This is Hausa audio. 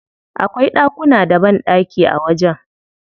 Akwai ɗakuna da banɗaki a wajen.